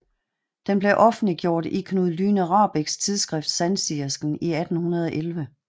Den blev offentliggjort i Knud Lyne Rahbeks tidsskrift Sandsigeren i 1811